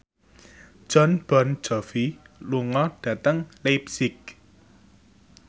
Jon Bon Jovi lunga dhateng leipzig